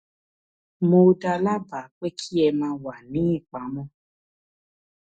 mo dá a lábàá pé kí ẹ máa wà ní ìpamọ